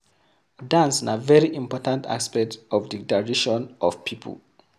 Dance na very important aspect of di tradition of people